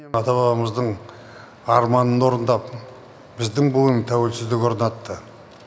ата бабамыздың арманын орындап біздің буын тәуелсіздік орнатты